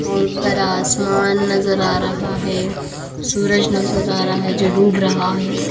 और फिर आसमान नजर आ रहा है सूरज नजर आ रहा है जो डूब रहा है।